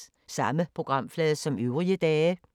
Samme programflade som øvrige dage